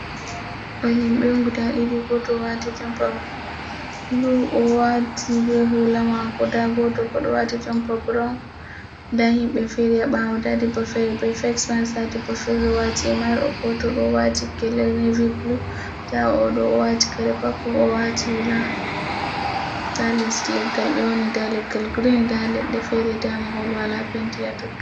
Ɗo himbe guda ɗiɗi goto wati jomapa blu owati be hulamako, ɗa goto bodo wati jompa brawn ɗa himbe feriya bawo ɗa debbo fere be fesemak nda debbo bo fere wati himar goto do wati gele nevi blu ɗa odo o wati gele popul, ɗa les leggal be woni, ɗa leggal green ɗaleɗɗe fere, ɗa ma hol wala penti hatotton.